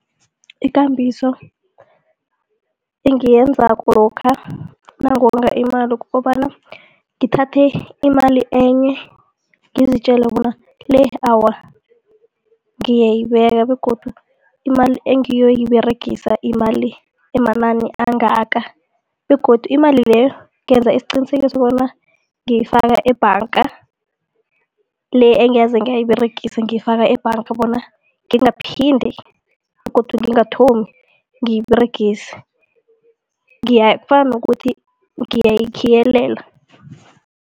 Ikambiso engiyenzako lokha nangonga imali kukobana ngithathe imali enye ngizitjela bona le awa ngiyayibeka begodu imali engiyoyiberegisa imali emanani angaka begodu imali leyo ngenza isiqinisekiso bona ngiyifaka ebhanga, le engeze ngayiberegisa ngiyifaka ebhanga bona ngingaphinde begodu ngingathomi ngiyiberegise kufana nokuthi ngiyayikhiyelela.